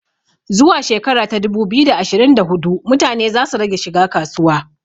Zuwa shekara ta dubu biyu da ashirin da hudu mutane za su rage shiga kasuwa